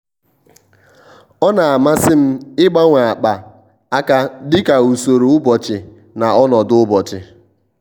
ọ́ nà-àmàsị́ m ị́gbanwe ákpá áká dika usoro ụ́bọ̀chị̀ na ọnọdụ ụ́bọ̀chị̀.